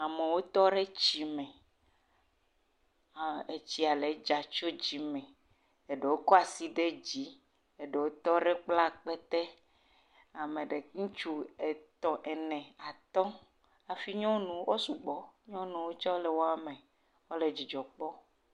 Amewo tɔ ɖe tsi me, etsia le dza tso dzi me, eɖewo kɔ asi ɖe dzi, eɖewo tɔ ɖe kpla akpete, ame ɖe.. ŋutsu eve, etɔ̃, ene atɔ̃, hafi nyɔnu wo sugbɔ, nyɔnuwo tsɛ le woa me, wole dzidzɔ kpɔm.